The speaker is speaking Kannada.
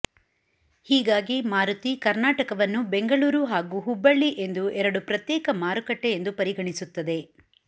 ಹೀಗಾಗಿ ಮಾರುತಿ ಕರ್ನಾಟಕವನ್ನು ಬೆಂಗಳೂರು ಹಾಗೂ ಹುಬ್ಬಳ್ಳಿ ಎಂದು ಎರಡು ಪ್ರತ್ಯೇಕ ಮಾರುಕಟ್ಟೆ ಎಂದು ಪರಿಗಣಿಸುತ್ತದೆ